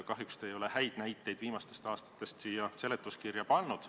Kahjuks te ei ole häid näiteid viimastest aastatest siia seletuskirja pannud.